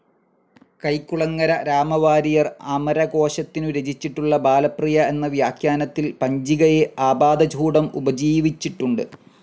കൈക്കുളങ്ങര രാമവാരിയർ അമരകോശത്തിനു രചിച്ചിട്ടുള്ള ബാലപ്രിയ എന്ന വ്യാഖ്യാനത്തിൽ പഞ്ചികയെ ആപാദചൂഡം ഉപജീവിച്ചിട്ടുണ്ടു്.